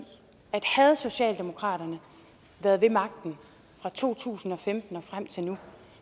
at havde socialdemokraterne været ved magten fra to tusind og femten og frem til nu